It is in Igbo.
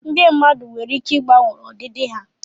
ndị mmadụ nwere ike ịgbanwe ọdịdị ha